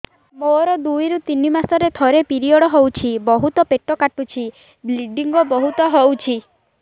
ମୋର ଦୁଇରୁ ତିନି ମାସରେ ଥରେ ପିରିଅଡ଼ ହଉଛି ବହୁତ ପେଟ କାଟୁଛି ବ୍ଲିଡ଼ିଙ୍ଗ ବହୁତ ହଉଛି